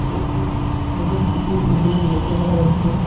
একটি ছোট পুকুর এই ছবিতে লক্ষ্য করা যাচ্ছে।